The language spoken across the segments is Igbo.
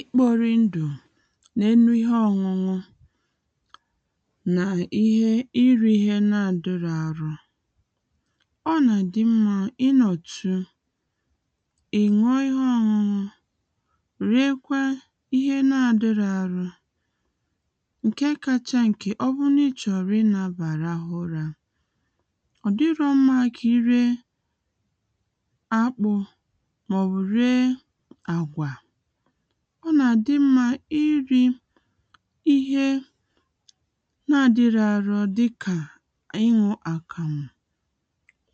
ikpori ndù n’enu ihe ọṅụṅụ nà-iri ihe na-àdịrọ arụ ọ nà-àdị mmā ịnọ̀tu iṅụọ ihe ọṅụṅụ rie kwa ihe na-adịrọ arọ ǹke kacha ǹkè ọbụrụ n’ịchọ̀rọ̀ ịnabà rahụ ụra ọ̀ dịrọ mmā kà iriē akpụ̄ mà ọ̀bụ̀ riē àgwà ọ nà-àdị mmā iri ihe na-adịrọ arọ dịkà ịṅụ àkàmụ̀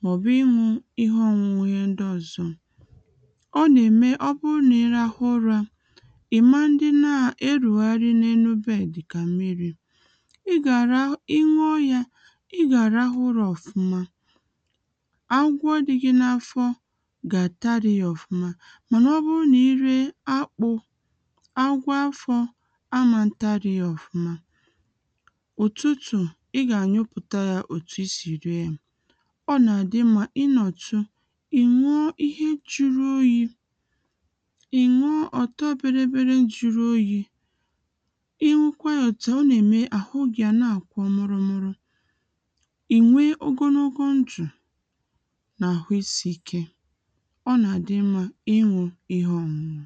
mà ọ̀bụ̀ ịṅụ̄ ihe ọṅụṅụ ihe ndị ọ̀zọ ọ nà-ème ọbụ na-irahụ ụra ìma dịna erùgharị n’enu bed dịkà mmirī ịṅụọ yā ị gà àrahụ ụrā ọ̀fụma agwọ dị gị n’afọ gà àtarì yā ọ̀fụma mànà ọbụ nà-iriē akpụ agwọ afọ amā tarì yā ọ̀fụma ụ̀tụtụ̀ ị gà ànyụpụ̀ta yā òtù isì riē yā ọ nà-àdị mmā ịnọ̀tu ị̀ṅụọ ihe jiri oyi ị̀ṅụọ ọ̀tọ bịrị bịrị jiri oyi ịṅụkwa yā òtu à ọ nà-ème àhụ gị a n’àkwọ nwụrụ nwụrụ ìnwe ogonogo ndù n’àhụ isiike ọ nà-àdị mmā ịṅụ ihe ọṅụṅụ